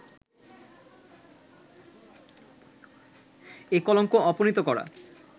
এ কলঙ্ক অপনীত করা